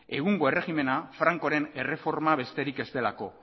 egungo erregimena frankoren erreforma besterik ez delako